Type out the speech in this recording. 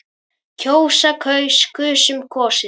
kjósa- kaus- kusum- kosið